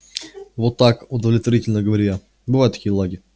вот так удовлетворительно говорю я бывают такие лаги